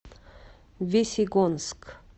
весьегонск